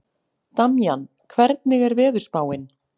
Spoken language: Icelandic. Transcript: Damjan, hvernig er veðurspáin?